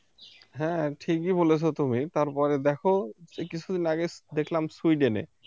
হ্যাঁ ঠিকই বলেছ তুমি তারপরে দেখো কিছুদিন আগে দেখলাম সুইডেনে